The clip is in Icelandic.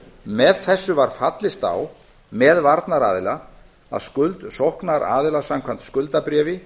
með þessu var fallist á með varnaraðila að skuld sóknaraðila samkvæmt skuldabréfi